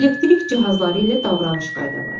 Elektrik cihazları ilə davranış qaydaları.